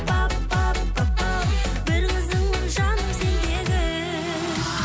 пап пап папау бір қызыңмын жаным сендегі